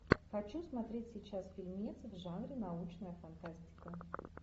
хочу смотреть сейчас фильмец в жанре научная фантастика